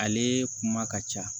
Ale kuma ka ca